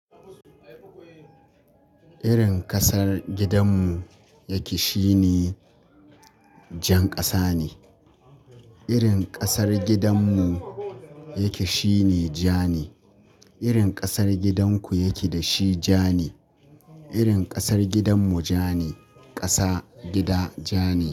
Irin ƙasar gidanmu yake shine jan ƙasa ne. Irin ƙasar gidanmu yake shine ja ne. Irin ƙasar gidan ku da yake da shi ja ne. Irin ƙasar gidanmu ja ne. Ƙasa, gida, ja ne.